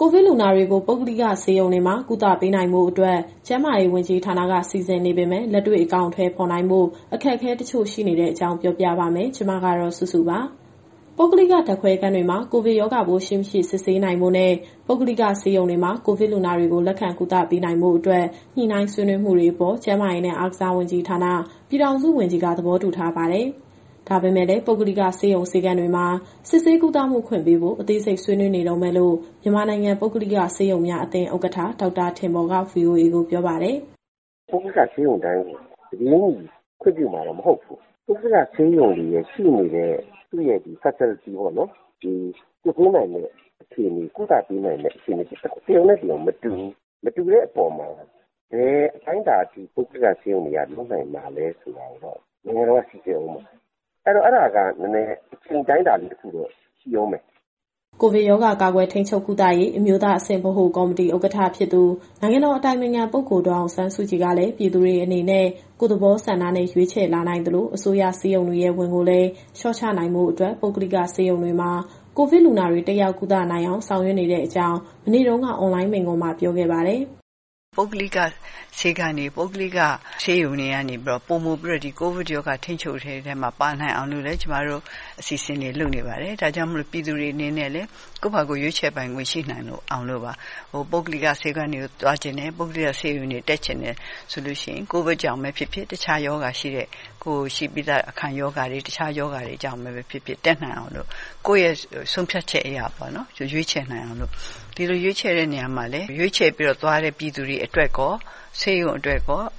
ကိုဗစ်လူနာတွေကို ပုဂ္ဂလိကဆေးရုံတွေမှာ ကုသမှုပေးနိုင်ဖို့အတွက် ကျန်းမာရေးဝန်ကြီးဌာနက စီစဉ်နေပေမဲ့ လက်တွေ့ အကောင်အထည်ဖော်ဖို့ အခက်အခဲတချို့ရှိနေတဲ့အကြောင်း ပြောပြပါမယ်။ ဒီသတင်းကို ဗွီအိုအေမြန်မာပိုင်း သတင်းထောက်မစုစုက တင်ဆက်ပေးမှာပါ။ ပုဂ္ဂလိကဓာတ်ခွဲခန်းတွေမှာ ကိုဗစ်ရောဂါပိုးရှိ၊ မရှိ စစ်ဆေးနိုင်ဖို့နဲ့ ပုဂ္ဂလိကဆေးရုံတွေမှာ ကိုဗစ်လူနာတွေကို လက်ခံကုသပေးနိုင်ဖို့အတွက် ညှိနှိုင်းဆွေးနွေးမှုတွေအပေါ်ကျန်းမာရေးနဲ့ အားကစားဝန်ကြီးဌာန၊ ပြည်ထောင်စုဝန်ကြီးက သဘောတူထားပါတယ်။ ဒါပေမဲ့လည်း ပုဂ္ဂလိကဆေးရုံ၊ ဆေးခန်းတွေမှာ စစ်ဆေးကုသမှုခွင့်ပေးဖို့ အသေးစိတ် ဆွေးနွေးနေတုန်းပဲလို့ မြန်မာနိုင်ငံပုဂ္ဂလိကဆေးရုံများ အသင်းဥက္ကဋ္ဌ ဒေါက်တာထင်ပေါ်က VOA ကိုပြောပါတယ်။ “ပုဂ္ဂလိကဆေးရုံတိုင်းကို တပြေးညီခွင့်ပြုမှာတော့ မဟုတ်ဘူး။ ပုဂ္ဂလိကဆေးရုံတွေမှာ ရှိနေတဲ့ သူ့ရဲ့ Facilities ပေါ့နော်။ ဒီစစ်ဆေးနိုင်တဲ့ အခြေအနေ၊ ကုသပေးနိုင်တဲ့ အခြေအနေ တရုံနဲ့ တရုံမတူဘူး။ မတူတဲ့အပေါ်မှာ ဘယ်အတိုင်းအတာအထိ ပုဂ္ဂလိကဆေးရုံတွေက လုပ်နိုင်မှာလဲဆိုတာကတော့ နိုင်ငံတော်က စိစစ်ဦးမှာ။ အဲတော့ အဲဒါကနည်းနည်း အချိန်အတိုင်းအတာလေး တခုတော့ ရှိဦးမယ်။” ကိုဗစ်ရောဂါကာကွယ်၊ ထိန်းချုပ်၊ ကုသရေး အမျိုးသားအဆင့် ဗဟိုကော်မတီဥက္ကဋ္ဌဖြစ်သူ နိုင်ငံတော်အတိုင်ပင်ခံပုဂ္ဂိုလ် ဒေါ်အောင်ဆန်းစုကြည်ကလည်း ပြည်သူတွေအနေနဲ့ ကိုယ့်သဘောဆန္ဒနဲ့ ရွေးချယ်လာနိုင်သလို၊ အစိုးရဆေးရုံတွေရဲ့ ဝန်ကိုလည်းလျှော့ချနိုင်ဖို့အတွက် ပုဂ္ဂလိကဆေးရုံတွေမှာ ကိုဗစ်လူနာတွေ တက်ရောက်ကုသနိုင်အောင် ဆောင်ရွက်နေတဲ့အကြောင်း မနေ့တုန်းက အွန်လိုင်းမိန့်ခွန်းမှာ ပြောခဲ့ပါတယ်။ “ပုဂ္ဂလိကဆေးခန်းတွေ၊ ပုဂ္ဂလိကဆေးရုံတွေကနေပြီးတော့ ပိုမိုပြီးတော့ ဒီကိုဗစ်ရောဂါထိန်းချုပ်ရေးထဲမှာ ပါနိုင်အောင်လည်း ကျမတို့အစီအစဉ်တွေ လုပ်နေပါတယ်။ ဒါကြောင့်မို့လို့ ပြည်သူတွေအနေနဲ့လည်း ကိုယ့်ဘာကိုယ်ရွေးချယ်ပိုင်ခွင့် ရှိနိုင်အောင်လို့ပါ။ ပုဂ္ဂလိကဆေးခန်းတွေ သွားချင်တယ်၊ ပုဂ္ဂလိကဆေးရုံတွေ တက်ချင်တယ်ဆိုလို့ရှိရင် ကိုဗစ်ကြောင့်ပဲဖြစ်ဖြစ်၊ တခြား ရောဂါတွေကြောင့်ပဲဖြစ်ဖြစ် တက်နိုင်အောင်လို့၊ ကိုယ့်ရဲ့ဆုံးဖြတ်ချက်အရ ရွေးချယ်နိုင်အောင်လို့။ ဒီလိုရွေးချယ်တဲ့နေရာမှာလည်း ရွေးချယ်ပြီးတော့သွားတဲ့ ပြည်သူတွေအတွက်ရော၊ ဆေးရုံအတွက်ရော၊ အ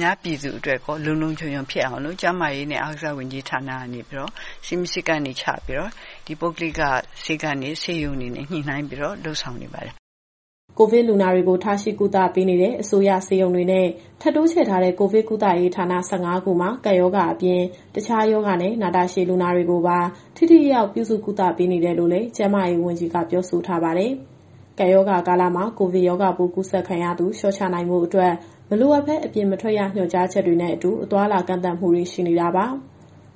များပြည်သူအတွက်ရော လုံလုံခြုံခြုံဖြစ်အောင်လို့ ကျန်းမာရေးနဲ့ အားကစားဝန်ကြီးဌာနကနေပြီးတော့ စည်းမျဉ်းစည်းကမ်းတွေ ချပြီးတော့ ပုဂ္ဂလိကဆေးခန်းတွေ၊ ဆေးရုံတွေနဲ့ ညှိနှိုင်းပြီးတော့ လုပ်ဆောင်နေပါတယ်။” ကိုဗစ်လူနာတွေကို ထားရှိကုသပေးနေတဲ့ အစိုးရဆေးရုံတွေနဲ့ ထပ်တိုးချဲ့ထားတဲ့ ကိုဗစ်ကုသရေးဌာန ၁၅ ခုမှာ ကပ်ရောဂါအပြင် တခြားရောဂါနဲ့ နာတာရှည်လူနာတွေကိုပါ ထိထိရောက်ရောက် ပြုစုကုသပေးနေတယ်လို့လည်း ကျန်းမာရေးဝန်ကြီးက ပြောဆိုထားပါတယ်။ ကပ်ရောဂါကာလမှာ ကိုဗစ်ရောဂါပိုးကူးစက်ခံရသူ လျှော့ချနိုင်ဖို့အတွက် မလိုအပ်ပဲအပြင်မထွက်ရ ညွှန်ကြားချက်တွေနဲ့အတူ အသွားအလာကန့်သတ်မှုတွေ ရှိနေတာပါ။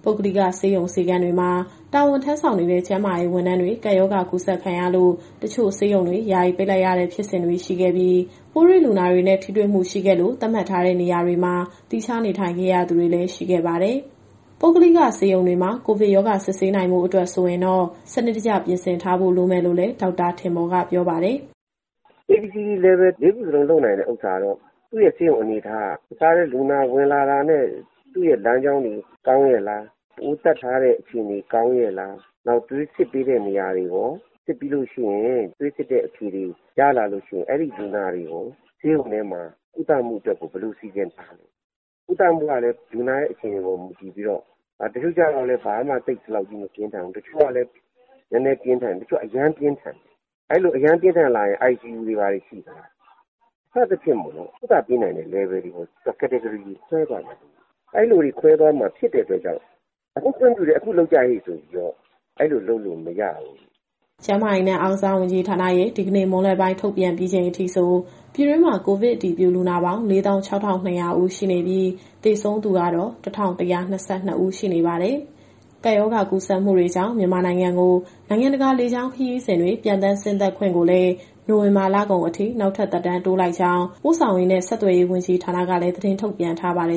ပုဂ္ဂလိကဆေးရုံ၊ ဆေးခန်းတွေမှာ တာဝန်ထမ်းဆောင်နေတဲ့ ကျန်းမာရေးဝန်ထမ်းတွေ ကပ်ရောဂါကူးစက်ခံရလို့ တချို့ဆေးရုံတွေ ယာယီပိတ်လိုက်ရတဲ့ ဖြစ်စဉ်တွေရှိခဲ့ပြီး၊ ပိုးတွေ့လူနာတွေနဲ့ ထိတွေ့မှုရှိခဲ့လို့ သတ်မှတ်ထားတဲ့နေရာတွေမှာ သီးခြားနေထိုင်ခဲ့ရသူတွေ ရှိခဲ့ပါတယ်။ ပုဂ္ဂလိကဆေးရုံတွေမှာ ကိုဗစ်ရောဂါ စစ်ဆေးကုသနိုင်ဖို့အတွက် ဆိုရင်တော့ စနစ်တကျ ပြင်ဆင်ထားဖို့ လိုမယ်လို့လည်း ဒေါက်တာထင်ပေါ်က ပြောပါတယ်။ “A-B-C-D Level လေးခုစလုံး လုပ်နိုင်တဲ့ဥစ္စာကတော့ သူ့ရဲ့ ဆေးရုံအနေအထားက တခါတည်းလူနာဝင်လာတာနဲ့ သူ့ရဲ့လမ်းကြောင်းတွေ ကောင်းရဲ့လား၊ ပိုးသတ်ထားတဲ့အခြေအနေ ကောင်းရဲ့လား၊ သွေးစစ်ပေးတဲ့နေရာတွေရော စစ်ပြီးလို့ သွေးစစ်တဲ့အဖြေတွေ ရလာလို့ရှိရင် အဲဒီလူနာတွေကို ဆေးရုံထဲမှာ ကုသဖို့အတွက်ကို ဘယ်လိုစီစဉ်ထားလဲ။ ကုသမှုကလည်း လူနာရဲ့အခြေအနေပေါ်မှာ မူတည်ပြီးတော့ တချို့ကျတော့လည်း လက္ခဏာမပြင်းထန်ဘူး၊ တချို့က နည်းနည်းပြင်းထန်တယ်၊ တချို့က အရမ်းပြင်းထန်တယ်။ အဲလို အရမ်းပြင်းထန်လာရင် ICU တွေ၊ ဘာတွေရှိလား စသဖြင့်ပေါ့နော်။ ကုသပေးနိုင်တဲ့ Level တွေပေါ်သူက Category ခွဲသွားမှာ။ အဲလိုတွေ ခွဲသွားမှာဖြစ်တဲ့အတွက်ကြောင့် အခုခွင့်ပြုတယ်၊ အခုလုပ်ကြဟေ့ ဆိုပြီးတော့ အဲလိုလုပ်လို့မရဘူး။ ” ကျန်းမာရေးနဲ့ အားကစားဝန်ကြီးဌာနရဲ့ဒီကနေ့မွန်းလွဲပိုင်း ထုတ်ပြန်ပြီးချိန်အထိဆို ပြည်တွင်းမှာကိုဗစ်အတည်ပြုလူနာပေါင်း ၄၆,၂၀၀ ဦးရှိနေပြီး၊ သေဆုံးသူကတော့ ၁,၁၂၂ ဦးရှိနေပါတယ်။ ကပ်ရောဂါ ကူးစက်မှုတွေကြောင့် မြန်မာနိုင်ငံကို နိုင်ငံတကာ လေကြောင်းခရီးစဉ်တွေ ပျံသန်းဆင်းသက်ခွင့်ကိုလည်း နိုဝင်ဘာလကုန်အထိ နောက်ထပ် သက်တမ်းတိုးလိုက်ကြောင်း ပို့ဆောင်ရေးနဲ့ ဆက်သွယ်ရေး ဝန်ကြီးဌာနကလည်း သတင်းထုတ်ပြန်ထားပါတယ်